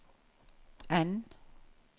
N